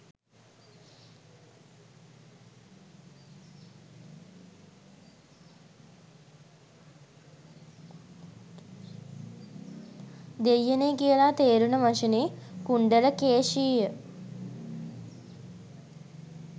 දෙයියනේ කියලා තේරුන වචනේ "කුණ්ඩල කේෂිය"